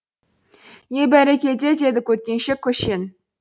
е бәрекелде деді көткеншек көшен